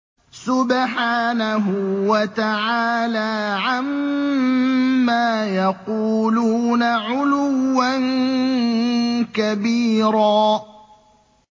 سُبْحَانَهُ وَتَعَالَىٰ عَمَّا يَقُولُونَ عُلُوًّا كَبِيرًا